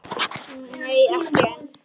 Nei, ekki enn.